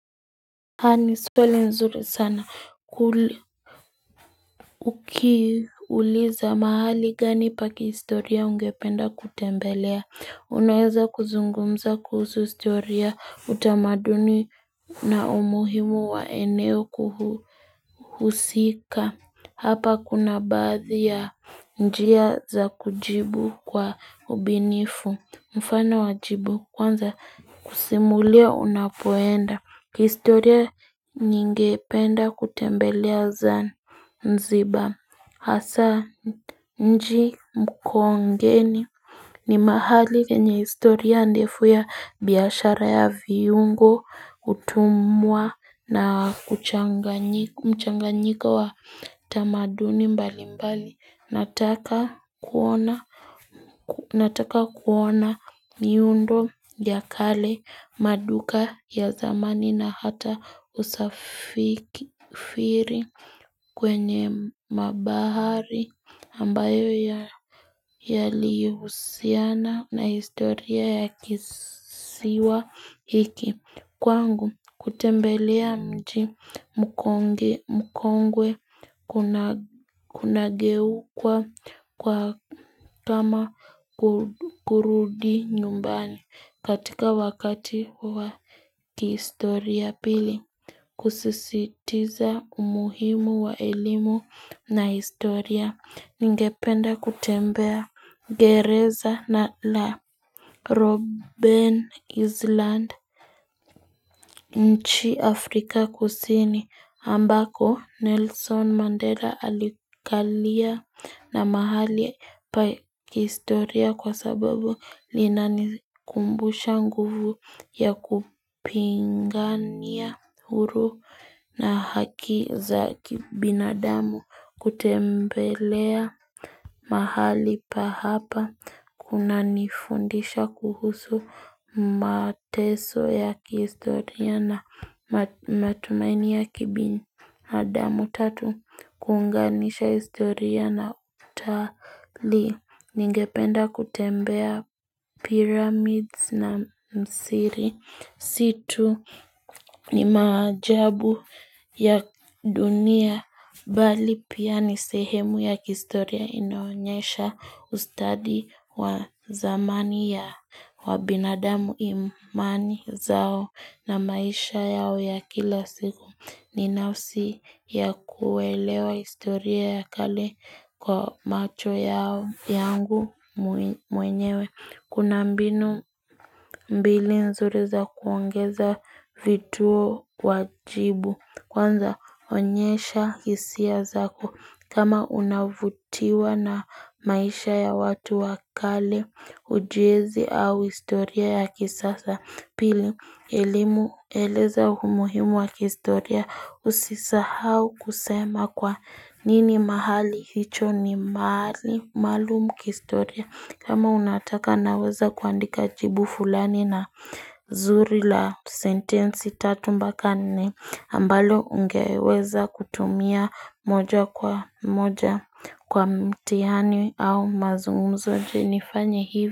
Ni story nzuri sana kuli Ukiuliza mahali gani pa kihistoria ungependa kutembelea unaweza kuzungumza kuhusu historia utamaduni na umuhimu wa eneo kuhusika Hapa kuna baadhi ya njia za kujibu kwa ubunifu mfano wa jibu kwanza kusimulia unapoenda kihistoria ningependa kutembelea Zanzibar hasa mji Makongeni ni mahali penye historia ndefu ya biashara ya viungo utumwa na mchanganyiko wa tamaduni mbalimbali. Nataka kuona nataka kuona miundo ya kale maduka ya zamani na hata usafiri kwenye mabahari ambayo yalihusiana na historia ya kisiwa hiki Kwangu, kutembelea mji mkongwe kunageuka kuwa kama kurudi nyumbani katika wakati wa kihistoria pili. Kusisitiza umuhimu wa elimu na historia, ningependa kutembea gereza na la. Robben Island nchi Afrika Kusini ambako Nelson Mandela alikalia na mahali pa kihistoria kwa sababu linanikumbusha nguvu ya kupigania huru na haki za kibinadamu kutembelea mahali pa hapa kunanifundisha kuhusu mateso ya kihistoria na matumaini ya kibinadamu tatu kuunganisha historia na utalii ningependa kutembea Pyramids na Misri Si tu ni maajabu ya dunia Bali pia ni sehemu ya kihistoria inaonyesha ustadi wa zamani ya wabinadamu imani zao na maisha yao ya kila siku. Ni nafsi ya kuelewa historia ya kale kwa macho yao yangu mwenyewe. Kuna mbinu mbili nzuri za kuongeza vituo wajibu. Kwanza onyesha hisia zako. Kama unavutiwa na maisha ya watu wa kale ujenzi au historia ya kisasa pili elimu eleza umuhimu wa kihistoria usisahau kusema kwa nini mahali hicho ni mahali maalum kihistoria kama unataka naweza kuandika jibu fulani na zuri la sentensi tatu mpaka nne ambalo ungeweza kutumia moja kwa moja kwa mtihani au mazungumzo. Je, nifanye hivi?